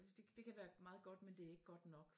Det kan være meget godt men det er ikke godt nok